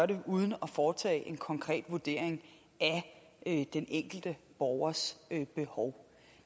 det uden at foretage en konkret vurdering af den enkelte borgers behov